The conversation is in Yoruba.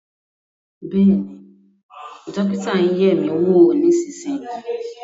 Bẹ́ẹ̀ ni, dókítà ń yẹ̀ ẹ́ wò, èmi nísinsìnyí